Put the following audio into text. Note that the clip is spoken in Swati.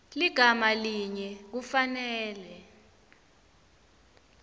ligama linye kufanele